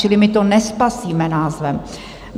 Čili my to nespasíme názvem.